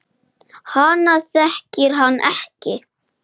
Hina þekkir hann ekki.